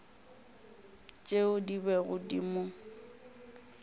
tšeo di bego di mo